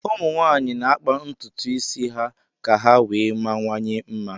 Ụmụ nwaanyị na-akpa ntụtụ isi ha ka ha wee mawanye mma